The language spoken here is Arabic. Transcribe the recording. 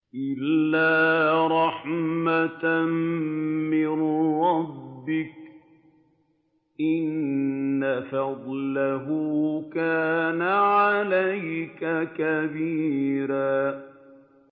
إِلَّا رَحْمَةً مِّن رَّبِّكَ ۚ إِنَّ فَضْلَهُ كَانَ عَلَيْكَ كَبِيرًا